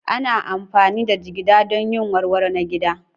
Ana amfani da jigida don yin warwaro na gida.